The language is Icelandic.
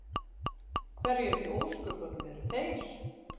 Hverjir í ósköpunum eru þeir?